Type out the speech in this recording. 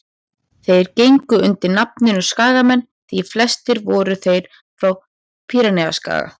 þeir gengu undir nafninu skagamenn því flestir voru þeir frá pýreneaskaga